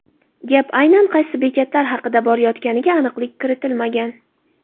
Gap aynan qaysi bekatlar haqida borayotganiga aniqlik kiritilmagan.